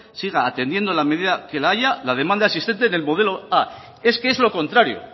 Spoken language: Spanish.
siga atendiendo en la medida en que la haya la demanda existente del modelo a es que es lo contrario